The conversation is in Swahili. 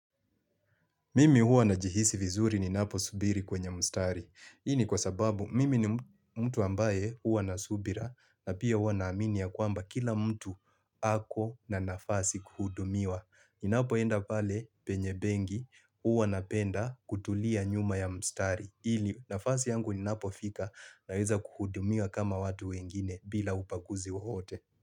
Mimi huwa najihisi vizuri ninapo subiri kwenye mstari. Hii ni kwa sababu mimi ni mtu ambaye huwa na subira na pia huwa na amini ya kwamba kila mtu ako na nafasi kuhudumiwa. Ninapo enda pale penye benki hua napenda kutulia nyuma ya mstari. Ili nafasi yangu inapo fika naweza kuhudumiwa kama watu wengine bila ubanguzi wowote.